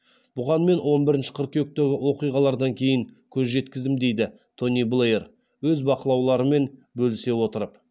бұған мен он бірінші қыркүйектегі оқиғалардан кейін көз жеткіздім дейді тони блэйр өз бақылауларымен бөлісе отырып